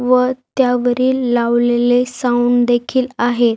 वर त्या वरील लावलेले साऊंड देखील आहेत.